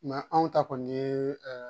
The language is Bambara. anw ta kɔni ye